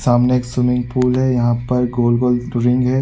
सामने एक swimming pool है यहाँ पर गोल -गोल टोरींग हैं।